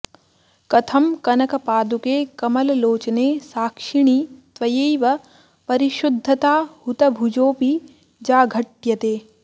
कथं कनकपादुके कमललोचने साक्षिणि त्वयैव परिशुद्धता हुतभुजोऽपि जाघट्यते